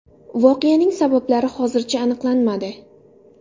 Voqeaning sabablari hozircha aniqlanmadi.